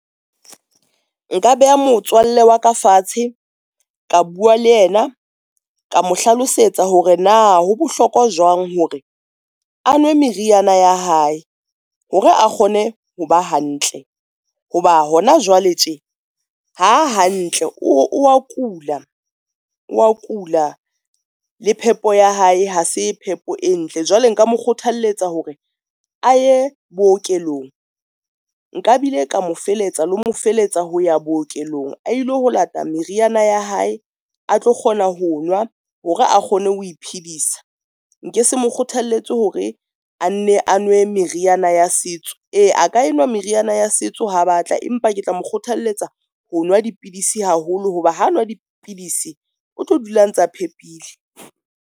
Nka beha motswalle wa ka fatshe ka bua le yena, ka mo hlalosetsa hore na ho bohlokwa jwang hore a nwe meriana ya hae hore a kgone ho ba hantle, ho ba hona jwale tje ha hantle o wa kula, wa kula le phepo ya hae, ha se phepo e ntle. Jwale nka mo kgothalletsa hore a ye bookelong nka bile ka mo feletsa le mo feletsa ho ya bookelong a ilo ho lata meriana ya hae a tlo kgona ho nwa hore a kgone ho iphedisa. Nke se mo kgothaletse hore a nne a nwe meriana ya setso. E, a ka enwa meriana ya setso ha batla, empa ke tla mo kgothalletsa ho nwa dipidisi haholo, hoba ha nwa dipidisi o tlo dula a ntsa phepile.